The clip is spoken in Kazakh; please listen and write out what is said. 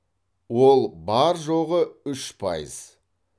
ол бар жоғы үш пайыз